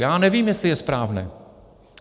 Já nevím, jestli je správné.